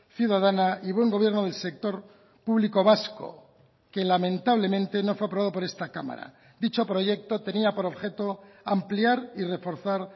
ciudadana y buen gobierno del sector público vasco que lamentablemente no fue aprobado por esta cámara dicho proyecto tenía por objeto ampliar y reforzar